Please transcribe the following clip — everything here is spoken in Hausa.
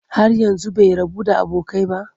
Har yanzu bai rabu da abokai ba?